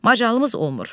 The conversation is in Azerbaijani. Macalımız olmur.